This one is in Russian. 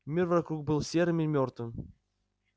мир вокруг был серым и мёртвым